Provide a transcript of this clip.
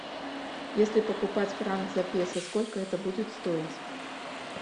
если покупать франк за песо сколько это будет стоить